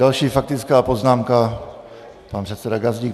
Další faktická poznámka - pan předseda Gazdík.